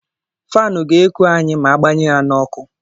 Fanu ga-eku anyị ma agbanye ya n’ọkụ